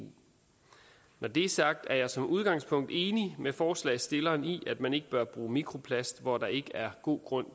når det er sagt er jeg som udgangspunkt enig med forslagsstilleren i at man ikke bør bruge mikroplast hvor der ikke er god grund